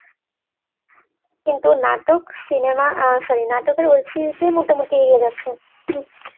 কিন্তু নাটক, cinema sorry নাটক আর web series দিয়ে মোটামুটি এগিয়ে যাচ্ছে